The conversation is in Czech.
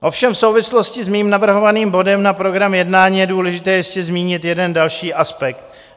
Ovšem v souvislosti s mým navrhovaným bodem na program jednání je důležité ještě zmínit jeden další aspekt.